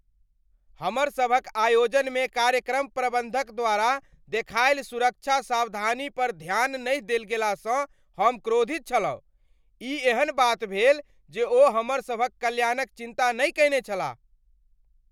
हमरसभक आयोजनमे कार्यक्रम प्रबन्धक द्वारा देखायल सुरक्षा सावधानीपर ध्यान नहि देल गेलासँ हम क्रोधित छलहुँ। ई एहन बात भेल जे ओ हमर सभक कल्याणक चिन्ता नहि कयने छलाह!